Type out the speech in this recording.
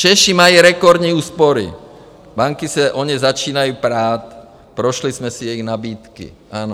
Češi mají rekordní úspory, banky se o ně začínají prát, prošli jsme si jejich nabídky, ano?